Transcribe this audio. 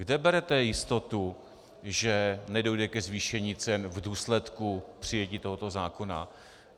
Kde berete jistotu, že nedojde ke zvýšení cen v důsledku přijetí tohoto zákona?